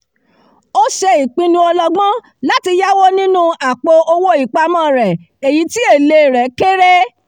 ó ṣe ìpinnu ọlọgbọ́n láti yáwó nínú àpò-owó ìpamọ́ rẹ̀ èyí tí èlé rẹ̀ kéré